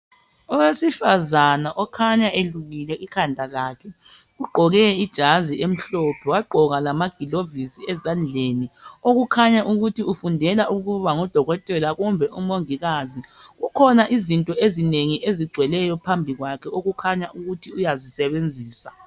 Owesifazana okhanya elukile ikhanda lakhe ugqoke ijazi elimhlophe wagqoka lamaglovisi ezandleni okukhanya ukuthi ufundela ukuba ngudokotela kumbe umongikazi,. Kukhona izinto ezinengi ezigcweleyo phambi kwakhe okukhanya ukuthi uyazisebenzisa.